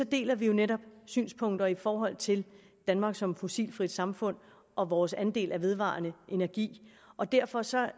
deler vi jo netop synspunkter i forhold til danmark som fossilfrit samfund og vores andel af vedvarende energi og derfor ser